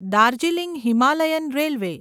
Darjeeling Himalayan railway